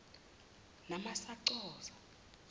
naamsa co za